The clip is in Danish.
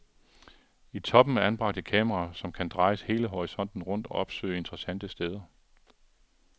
I toppen er anbragt et kamera, som kan drejes hele horisonten rundt og opsøge interessante steder.